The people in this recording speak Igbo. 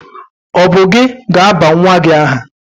Ọ bụ gị ga-aba nwa gị aha?